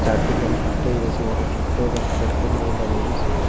যার জন্য মানুষ হাঁইট্টা আইতাসে একটা ছোট্ট বাচ্চা একটা মেয়ে দাঁড়ায় রইসে।